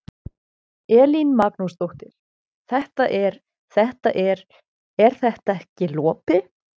Elín Magnúsdóttir: Þetta er, þetta er, er þetta ekki lopi?